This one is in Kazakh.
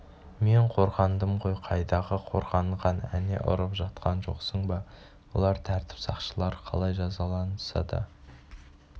мен қорғандым ғой қайдағы қорғанған әне ұрып жатқан жоқсың ба олар тәртіп сақшылары қалай жазаласа да